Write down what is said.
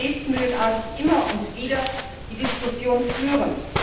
Wir müssen gebetsmühlenartig immer und wieder die Diskussion führen.